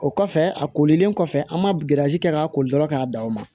O kɔfɛ a kolilen kɔfɛ an ma kɛ k'a koli dɔrɔn k'a da o ma